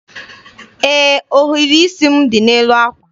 Ee, ohiri isi m dị n'elu àkwà.